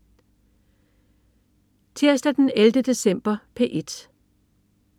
Tirsdag den 11. december - P1: